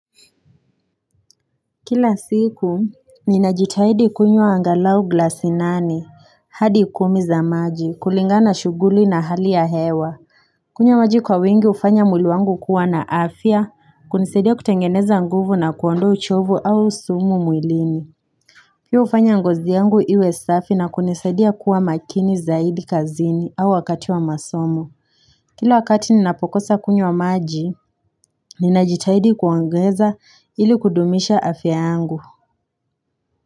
Kila siku, ninajitaidi kunywa angalau glasi nane hadi kumi za maji, kulingana shuguli na hali ya hewa kunywa maji kwa wengi hufanya mwili wangu kuwa na afya Kunisidia kutengeneza nguvu na kuondowa uchovu au sumu mwilini pia hufanya ngozi yangu iwe safi na kunisidia kuwa makini zaidi kazini au wakati wa masomo Kila wakati ninapokosa kunywa maji, ninajitaidi kuongeza ili kudumisha afya yangu.